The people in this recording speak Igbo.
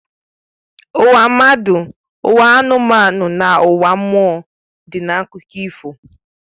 Ụwa mmadụ, ụwa anụmanụ na ụwa mmụọ dị n'akụkọ ifo